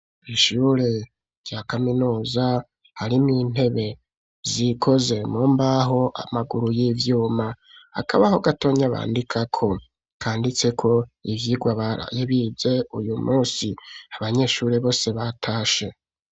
Ishure rya kaminuza, harimwo intebe, zikoze mu mbaho, amaguru y'ivyuma; akabaho gatonya, bandikako, kanditseko ivyigwa baraye bize, uyu munsi; abanyeshure bose, batashe.